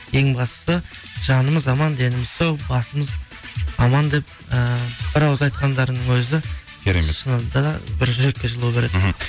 ең бастысы жанымыз аман деніміз сау басымыз аман деп ііі бір ауыз айтқандарының өзі керемет шынында да бір жүрекке жылу береді мхм